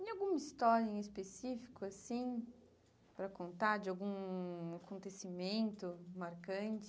Tem alguma história em específico, assim, para contar de algum acontecimento marcante?